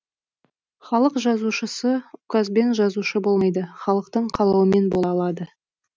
халық жазушысы указбен жазушы болмайды халықтың қалауымен бола алады